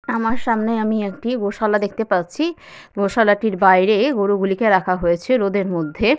আমার সামনে আমি একটি গসালা দেখতে পাচ্ছি গোসালাটির বাইরে গরুগুলোকে রাখা হয়েছে রোদের মধ্যে--